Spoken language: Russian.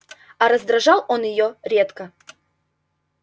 а раздражал он её редко